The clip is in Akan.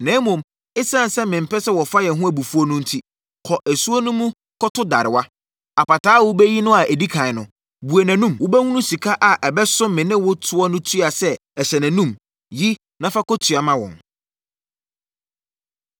Na mmom, ɛsiane sɛ mempɛ sɛ wɔfa yɛn ho abufuo no enti, kɔ asuo no mu kɔto darewa. Apataa a wobɛyi no adi ɛkan no, bue nʼanom. Wobɛhunu sika a ɛbɛso me ne wo ɛtoɔ no tua sɛ ɛhyɛ nʼanom; yi na fa kɔtua ma wɔn.”